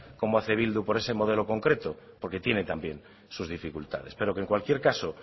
como hace bildu por ese modelo concreto porque tiene también sus dificultades pero que en cualquier caso